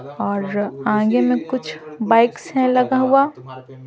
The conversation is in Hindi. और आगे में कुछ बाइक्स है लगा हुआ।